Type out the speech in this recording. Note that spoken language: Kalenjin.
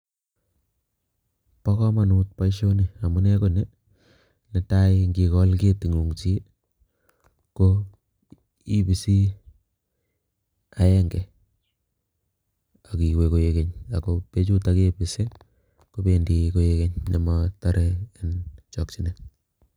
Bo kamanut boisioni. Amune ko ni, netai ngikol keting'ung chi ko ibisi agenge akiwe koegeny ago bechutok kebisi kobendi koegeny motare eng' chokchinet.